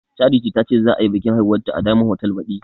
Charity tace za ayi biƙin aihuwanta a diyamond hotal baɗi